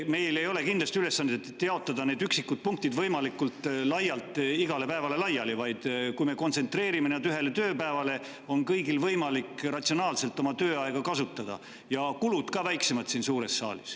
Meil ei ole kindlasti seatud ülesandeks jaotada üksikud punktid võimalikult laialt igale päevale laiali, vaid kui me kontsentreerime need ühele tööpäevale, siis on kõigil võimalik ratsionaalselt oma tööaega kasutada ja kulud oleksid ka väiksemad siin suures saalis.